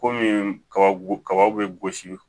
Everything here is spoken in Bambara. Komi kaba kaba bɛ gosi